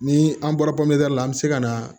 Ni an bɔra la an bɛ se ka na